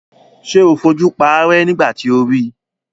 Ṣé o fojú paárẹ́ nígbà tí o ri?